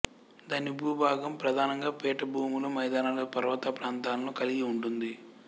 దాని భూభాగం ప్రధానంగా పీఠభూములు మైదానాలు పర్వత ప్రాంతాలను కలిగి ఉంటుంది